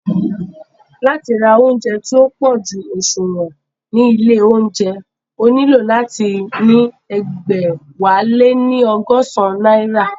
Láti ra óúnjẹ tí ó pójú òṣùwọ̀n ní ilé óúnjẹ, o nílò láti ní ẹgbẹ̀wáléní ọgọ́san náírà